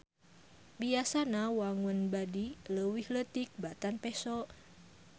Biasana wangun badi leuwih leutik batan peso.